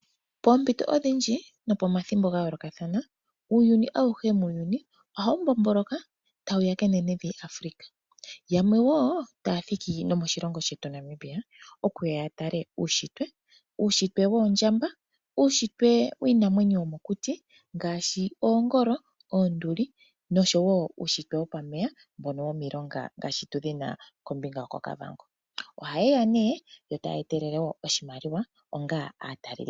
Poompito odhindji nopomathimbo ga yoolokathana uuyuni auhe muuyuni ohawu mbomboloka tawu ya kenenevi Afrika. Yamwe wo taya thiki nomoshilongo shetu Namibia okuya ya tale uunshitwe. Uunshitwe woondjamba, uunshitwe wiinamwenyo yomokuti ngaashi oongolo, oonduli oshowo uunshitwe wopameya mbono womilonga ngaashi tu dhi na kombinga yokOkavango. Ohaye ya nduno yo taya etelele wo oshimaliwa onga aatalelipo.